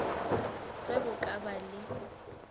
ge go ka ba le